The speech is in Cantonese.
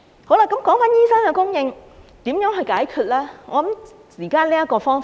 好了，提到醫生的供應，如何解決呢？